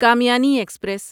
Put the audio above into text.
Kamayani express